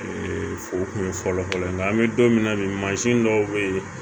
fo o kun ye fɔlɔfɔlɔ ye nga an be don min na bi mansin dɔw be ye